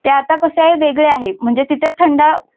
आता कसे आहे वेगळे आहे म्हणजे तिथे थंड